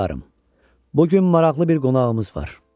Hökmdarım, bu gün maraqlı bir qonağımız var.